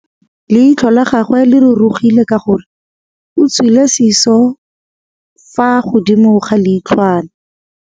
Leitlhô la gagwe le rurugile ka gore o tswile sisô fa godimo ga leitlhwana.